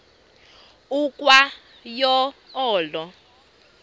ukwa yo olo